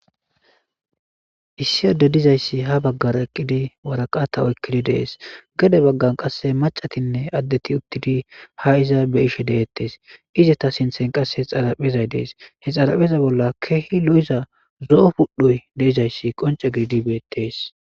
Issi adeyi dizayisi ha bagara eqidi waraqata oyikidi deesi gede bagani qasekka maccatinne addeti ha iza beishshe deetessi ezeta sinthani qasekka xaaraphezi deesi he xaarapheza bola kehi loiza pudhoyi qoncce gididi beteesi